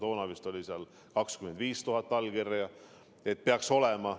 Toona vist oli seal nõue, et 25 000 allkirja peaks olema.